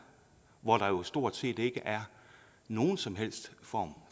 hvor der jo stort set ikke er nogen som helst form